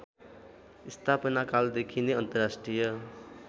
स्थापनाकालदेखि नै अन्तर्राष्ट्रिय